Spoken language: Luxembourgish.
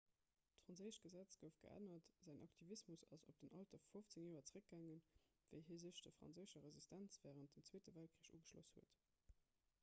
d'franséischt gesetz gouf geännert säin aktivismus ass op den alter vu 15 joer zeréckgaangen wéi hie sech der franséischer resistenz wärend dem zweete weltkrich ugeschloss huet